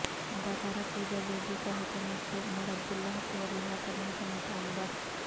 اداکارہ پوجا بیدی کا حکومت سے عمرعبداللہ کو رہا کرنے کا مطالبہ